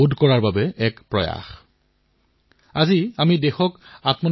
ঠিক সেইদৰে এক মাইক্ৰ ব্লগিং প্লেটফৰ্মৰ এপ এটাও আছে